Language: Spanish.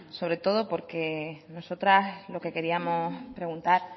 sobre todo porque nosotras lo que queríamos preguntar